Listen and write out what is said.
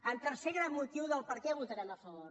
el tercer gran motiu de per què hi votarem a favor